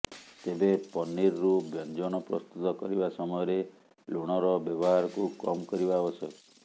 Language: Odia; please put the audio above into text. ତେବେ ପନିରରୁ ବ୍ୟଞ୍ଜନ ପ୍ରସ୍ତୁତ କରିବା ସମୟରେ ଲୁଣର ବ୍ୟବହାରକୁ କମ୍ କରିବା ଆବଶ୍ୟକ